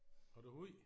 Har du hund?